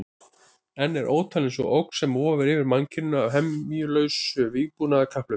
Enn er ótalin sú ógn sem vofir yfir mannkyninu af hemjulausu vígbúnaðarkapphlaupi.